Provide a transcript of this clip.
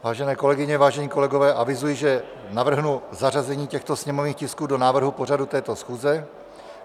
Vážené kolegyně, vážení kolegové, avizuji, že navrhnu zařazení těchto sněmovních tisků do návrhu pořadu této schůze.